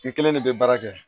N kelen de bɛ baara kɛ